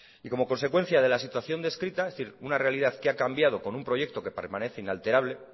y como consecuencia de la situación descrita es decir una realidad que ha cambiado con un proyecto que permanece inalterable